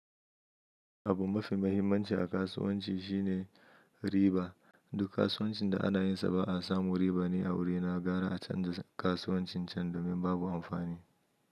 Abu mafi mahimmanci a kasuwanci shine riba. Duk kasuwancin da ana yinsa ba a samu riba ni a wuri na gara a canja kasuwancin can domin babu amfani.